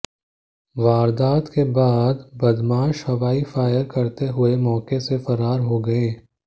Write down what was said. वारदात के बाद बदमाश हवाई फायर करते हुए मौके से फरार हो गए